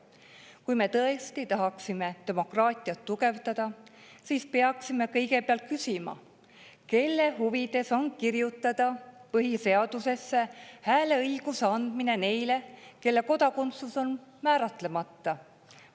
Kui me tõesti tahaksime demokraatiat tugevdada, siis peaksime kõigepealt küsima, kelle huvides on kirjutada põhiseadusesse hääleõiguse andmine neile, kelle kodakondsus on määratlemata.